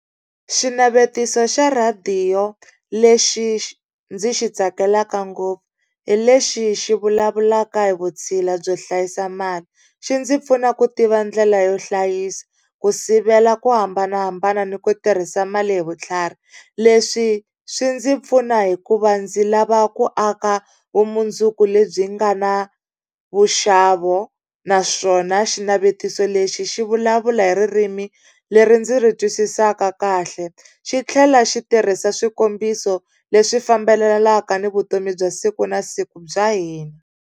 Xinavetiso xa rhadiyo lexi xi ndzi xi tsakelaka ngopfu, hi lexi xi vulavulaka hi vutshila byo hlayisa mali. Xi ndzi pfuna ku tiva ndlela yo hlayisa, ku sivela ku hambanahambana ni ku tirhisa mali hi vutlhari. Leswi swi ndzi pfuna hikuva ndzi lava ku aka vumundzuku lebyi nga na vuxavo, naswona xinavetiso lexi xi vulavula hi ririmi leri ndzi ri twisisaka kahle. Xi tlhela xi tirhisa swikombiso leswi fambelanaka ni vutomi bya siku na siku bya hina.